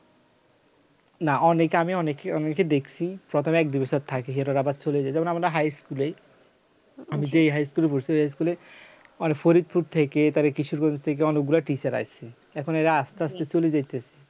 না অনেকে আমি অনেকে ই অনেকেই দেখছি প্রথমে এক দু'বছর থাকে সেটারা আবার চলে যায় যেমন আমরা high school এই আমি যেই high school এ ভর্তি হয়েছি ওই high school এ মানে ফরিদপুর থেকে তার কিছু দূর থেকে অনেকগুলো teacher আসছে এখন এর আস্তে আস্তে চলে যাইতেছে